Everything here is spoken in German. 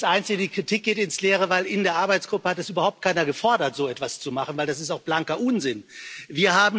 Das einzige, die Kritik geht ins Leere, denn in der Arbeitsgruppe hat überhaupt keiner gefordert, so etwas zu machen, weil das auch blanker Unsinn wäre.